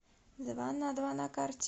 дванадва на карте